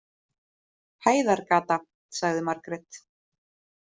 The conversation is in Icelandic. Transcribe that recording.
Hæðargata, sagði Margrét.